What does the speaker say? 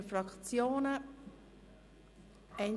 Gibt es Fraktionssprecherinnen oder -sprecher?